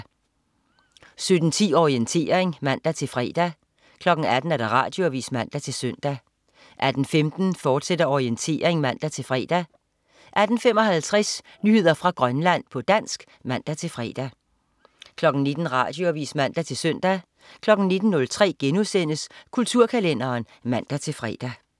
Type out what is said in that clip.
17.10 Orientering (man-fre) 18.00 Radioavis (man-søn) 18.15 Orientering, fortsat (man-fre) 18.55 Nyheder fra Grønland, på dansk (man-fre) 19.00 Radioavis (man-søn) 19.03 Kulturkalenderen* (man-fre)